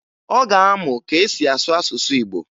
Ọ ga-amụ ka e si asụ asụsụ Igbo